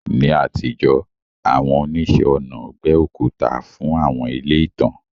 Ní àtijọ́, àwọn oníṣẹ́-ọnà gbẹ́ òkúta fún àwọn ilé ìtàn.